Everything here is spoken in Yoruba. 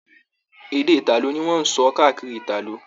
Èdè italo ní wọn n sọ káàkiri Italo.